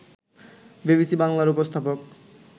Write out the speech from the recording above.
BBC বাংলার উপস্থাপক